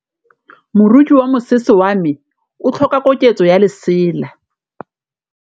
Moroki wa mosese wa me o tlhoka koketsô ya lesela.